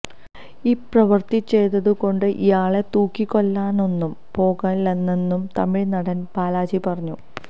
ഈ പ്രവൃത്തി ചെയ്തതുകൊണ്ട് ഇയാളെ തൂക്കിക്കൊല്ലാനൊന്നും പോകുന്നില്ലെന്നു തമിഴ് നടൻ ബാലാജി പറഞ്ഞു